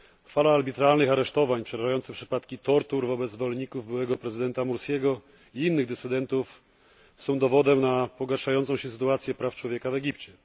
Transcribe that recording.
Fala arbitralnych aresztowań, przerażające przypadki tortur wobec zwolenników byłego prezydenta Mursiego i innych dysydentów są dowodem na pogarszającą się sytuację praw człowieka w Egipcie.